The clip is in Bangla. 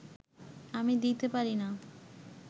আমি দিতে পারি না